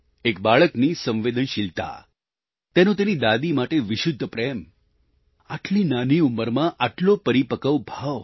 એક બાળકની સંવેદનશીલતા તેનો તેની દાદી માટે વિશુદ્ધ પ્રેમ આટલી નાની ઉંમરમાં આટલો પરિપક્વ ભાવ